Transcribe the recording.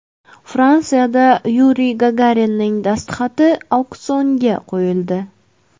Fransiyada Yuriy Gagarinning dastxati auksionga qo‘yildi.